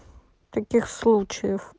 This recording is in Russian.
таких случаев